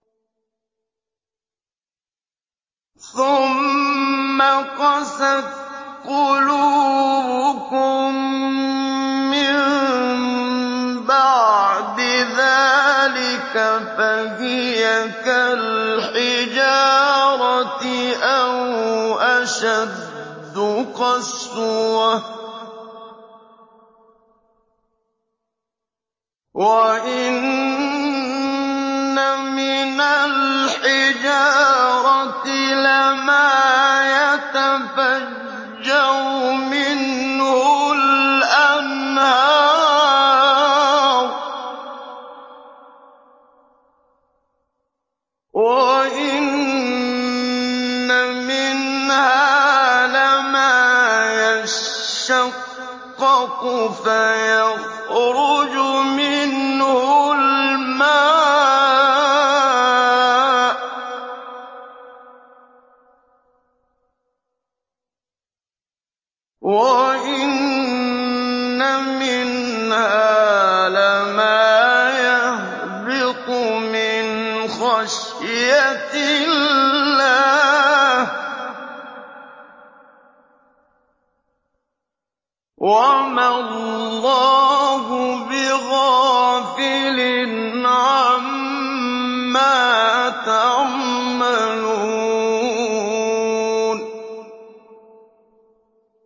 ثُمَّ قَسَتْ قُلُوبُكُم مِّن بَعْدِ ذَٰلِكَ فَهِيَ كَالْحِجَارَةِ أَوْ أَشَدُّ قَسْوَةً ۚ وَإِنَّ مِنَ الْحِجَارَةِ لَمَا يَتَفَجَّرُ مِنْهُ الْأَنْهَارُ ۚ وَإِنَّ مِنْهَا لَمَا يَشَّقَّقُ فَيَخْرُجُ مِنْهُ الْمَاءُ ۚ وَإِنَّ مِنْهَا لَمَا يَهْبِطُ مِنْ خَشْيَةِ اللَّهِ ۗ وَمَا اللَّهُ بِغَافِلٍ عَمَّا تَعْمَلُونَ